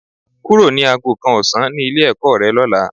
Kúrò ní aago kan ọ̀sán ní ilé-ẹ̀kọ́ rẹ lọ́la.